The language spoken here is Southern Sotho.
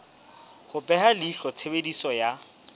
ho beha leihlo tshebediso ya